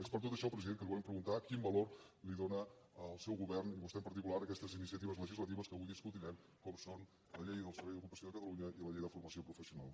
és per tot això president que li volem preguntar quin valor dóna el seu govern i vostè en particular a aquestes iniciatives legislatives que avui discutirem com són la llei del servei d’ocupació de catalunya i la llei de formació professional